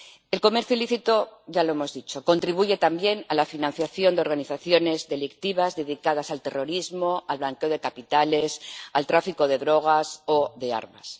El comercio ilícito —ya lo hemos dicho— contribuye también a la financiación de organizaciones delictivas dedicadas al terrorismo, al blanqueo de capitales, al tráfico de drogas o de armas.